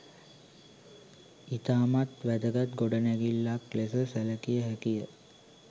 ඉතාමත් වැදගත් ගොඩනැගිල්ලක් ලෙස සැලකිය හැකිය.